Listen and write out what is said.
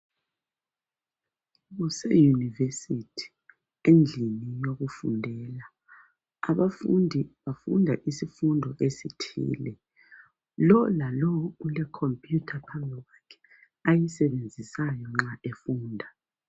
Kuseyunivesithi endlini yokufundela, abafundi bafunda isifundo esithile lo lalo ulekhompiyutha phambi kwakhe ayisebenzisayo nxa efunda.